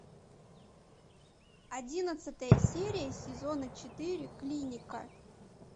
одиннадцатая серия сезона четыре клиника